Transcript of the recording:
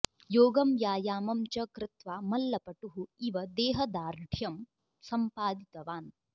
योगं व्यायामं च कृत्वा मल्लपटुः इव देहदार्ढ्यं सम्पादितवान्